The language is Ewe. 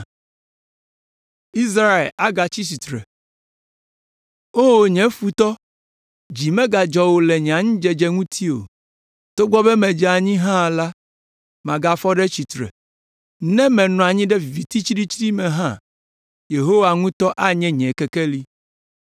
O nye futɔ, dzi megadzɔ wò le nye anyidzedze ŋuti o; togbɔ be medze anyi hã la, magafɔ ɖe tsitre! Ne menɔ anyi ɖe viviti tsiɖitsiɖi me hã, Yehowa ŋutɔ anye nye kekeli.